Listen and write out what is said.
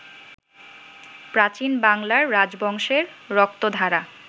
প্রাচীন বাংলার রাজবংশের রক্তধারা